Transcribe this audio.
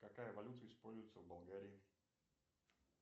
какая валюта используется в болгарии